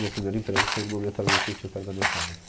Meu primeiro emprego foi numa metalúrgica que tinha perto da minha casa.